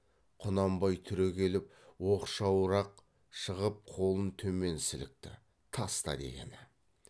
құнанбай түрегеліп оқшауырақ шығып қолын төмен сілікті таста дегені